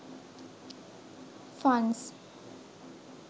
funs